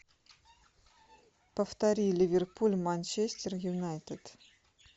повтори ливерпуль манчестер юнайтед